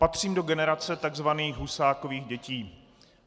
Patřím do generace tzv. Husákových dětí.